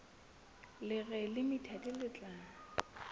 le reng limited le tla